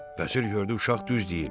Vəzir gördü uşaq düz deyir.